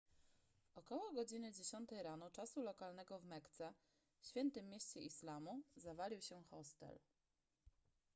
około godziny dziesiątej rano czasu lokalnego w mekce świętym mieście islamu zawalił się hostel